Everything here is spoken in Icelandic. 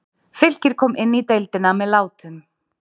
Fylkir kom inn í deildina með látum.